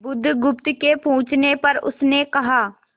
बुधगुप्त के पूछने पर उसने कहा